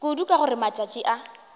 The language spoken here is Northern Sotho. kudu ka gore matšatši a